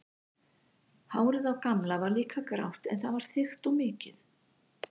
Hárið á Gamla var líka grátt en það var þykkt og mikið.